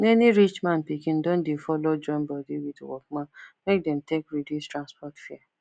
many rich man pikin don dey follow join body with workman make dem take reduce transport fare